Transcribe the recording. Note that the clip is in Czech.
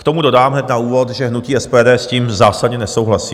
K tomu dodám hned na úvod, že hnutí SPD s tím zásadně nesouhlasí.